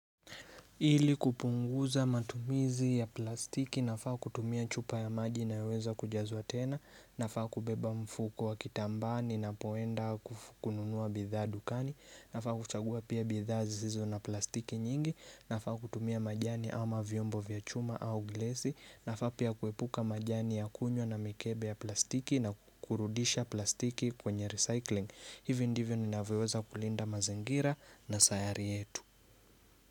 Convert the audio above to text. Ili kupunguza matumizi ya plastiki nafaa kutumia chupa ya maji inayoweza kujazwa tena. Nafaa kubeba mfuko wa kitambaa ninapoenda kukununua bidhaa dukani. Nafaa kuchagua pia bidhaa zizizo na plastiki nyingi. Nafaa kutumia majani ama vyombo vya chuma au gilesi nafaa pia kuepuka majani ya kunywa na mikebe ya plastiki na kurudisha plastiki kwenye recycling. Hivi ndivyo ninavyoweza kulinda mazingira na sayari yetu.